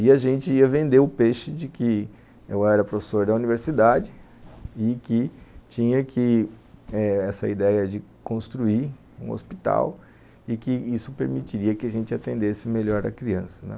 E a gente ia vender o peixe de que eu era professor da universidade e que tinha que eh essa ideia de construir um hospital e que isso permitiria que a gente atendesse melhor a criança, né